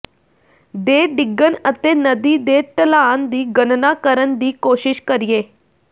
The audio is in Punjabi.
ਦੇ ਡਿੱਗਣ ਅਤੇ ਨਦੀ ਦੇ ਢਲਾਨ ਦੀ ਗਣਨਾ ਕਰਨ ਦੀ ਕੋਸ਼ਿਸ਼ ਕਰੀਏ